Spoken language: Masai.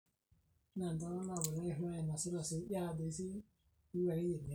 imboi imoyaritin naayau enkare nireten nkiterunot sidain enkare niaku iyie sapi nintobir enkare naoki